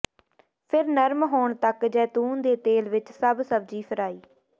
ਫਿਰ ਨਰਮ ਹੋਣ ਤੱਕ ਜੈਤੂਨ ਦੇ ਤੇਲ ਵਿੱਚ ਸਭ ਸਬਜ਼ੀ ਫਰਾਈ